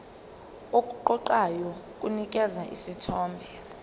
okuqoqayo kunikeza isithombe